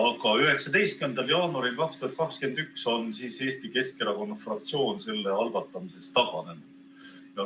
Aga 19. jaanuaril 2021 on Eesti Keskerakonna fraktsioon selle algatamisest taganenud.